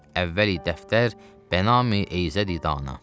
Əvvəl dəftər Bənami Eyzədidana.